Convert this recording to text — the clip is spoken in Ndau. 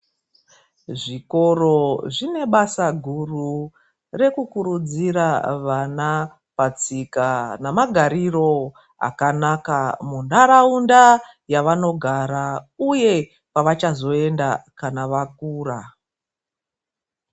Zvikoro zvine basa guru rekukurudzira vana patsika nemagarariro akanaka munharaunda yavanogara uye kwavachazoenda kana vakura.